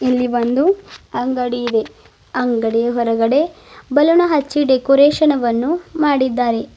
ಇಲ್ಲಿ ಒಂದು ಅಂಗಡಿ ಇದೆ ಅಂಗಡಿಯ ಹೊರಗಡೆ ಬಲೂನ ಅಚ್ಚಿ ಡೆಕೊರೇಷನ್ ವನ್ನು ಮಾಡಿದಾರೆ.